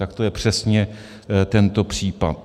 Tak to je přesně tento případ.